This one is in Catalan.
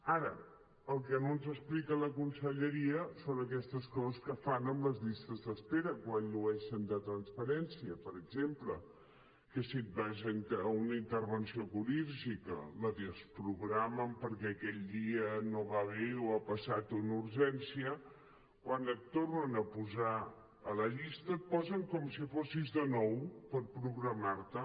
ara el que no ens explica la conselleria són aquestes coses que fan amb les llistes d’espera quan llueixen de transparència per exemple que si te’n vas a una intervenció quirúrgica la desprogramen perquè aquell dia no va bé o ha passat una urgència quan et tornen a posar a la llista et posen com si fossis de nou per programar te